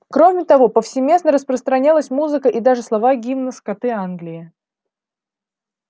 кроме того повсеместно распространялась музыка и даже слова гимна скоты англии